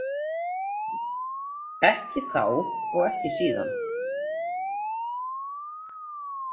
Ekki þá og ekki síðan.